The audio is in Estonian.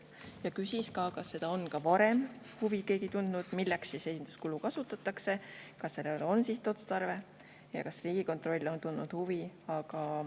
Ta küsis, kas ka varem on keegi huvi tundnud, milleks esinduskuludeks kasutatakse ja kas sellel on sihtotstarve, ning kas Riigikontroll on tundnud huvi.